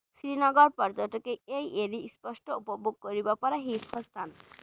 শ্ৰীনগৰ পৰ্য্যটকে এই স্পষ্ট উপভোগ কৰিব পৰা শীৰ্ষ স্থান